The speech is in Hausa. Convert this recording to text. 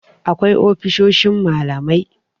akwai ofisoshin malamai